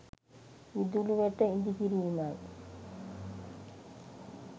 විදුලි වැට ඉදි කිිරීමයි.